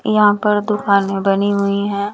यहाँ पर दुकानें बनी हुई हैं।